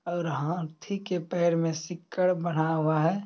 और हाथी के पेड़ में सीकर बंधा हुआ है।